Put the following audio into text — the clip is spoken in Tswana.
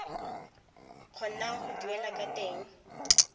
kgonang go duela ka teng